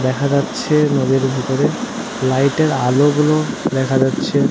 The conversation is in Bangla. দেখা যাচ্ছে নদীর ভিতরে লাইট এর আলো গুলো দেখা যাচ্ছে।